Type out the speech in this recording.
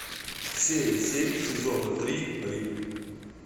серия семь сезона три рим